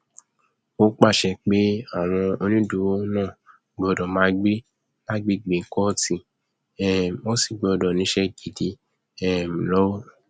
ó pàṣẹ pé àwọn onídùúró náà gbọdọ máa gbé lágbègbè kóòtù um wọn sì gbọdọ níṣẹ gidi um lọwọ